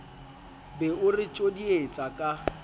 be o re tjodietsa ka